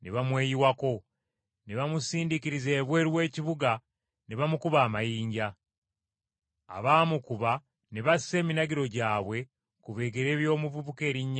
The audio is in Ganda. Ne bamusindiikiriza ebweru w’ekibuga, ne bamukuba amayinja. Abaamukuba ne bassa eminagiro gyabwe ku bigere by’omuvubuka erinnya lye Sawulo.